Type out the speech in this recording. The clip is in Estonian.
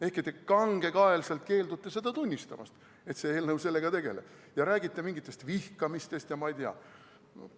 Ehkki te kangekaelselt keeldute seda tunnistamast, et see eelnõu sellega tegeleb, ja räägite mingist vihkamisest ja ma ei tea ...